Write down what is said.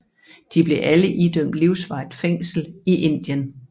De blev alle idømt livsvarigt fængsel i Indien